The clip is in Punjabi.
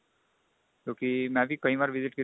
ਕਿਉਂਕਿ ਮੈਂ ਵੀ ਕਈ ਵਾਰੀ visit ਕੀਤਾ